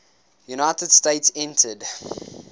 united states entered